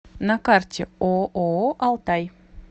на карте ооо алтай